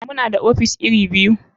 Muna da ofis iri biyu.